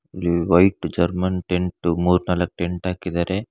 ಇಲ್ಲಿ white German tent ಮೂರ್ನಾಲಕ್ tent ಹಾಕಿದಾರೆ.